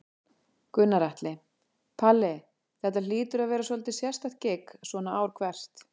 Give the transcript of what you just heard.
Gunnar Atli: Palli, þetta hlýtur að vera svolítið sérstakt gigg svona ár hvert?